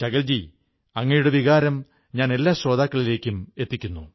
ശകൽ ജീ അങ്ങയുടെ വികാരം ഞാൻ എല്ലാ ശ്രോതാക്കളിലും എത്തിച്ചിരിക്കുന്നു